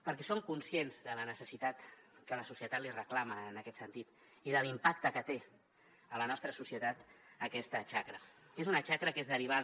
perquè som conscients de la necessitat que la societat l’hi reclama en aquest sentit i de l’impacte que té a la nostra societat aquesta xacra que és una xacra que és derivada